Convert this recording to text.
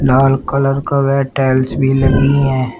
लाल colour का वह tiles भी लगी हैं।